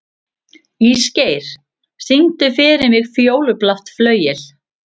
Ísgeir, syngdu fyrir mig „Fjólublátt flauel“.